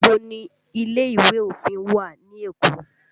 Níbo ni ilé ìwé òfin wà ní Èkó?